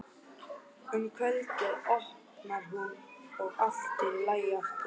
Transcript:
Auðvitað skiltið utan á mínum, sagði Gulli.